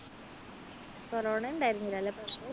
corona ഉണ്ടായിരുന്നില്ലേ എല്ലാ പ്രാവശ്യവും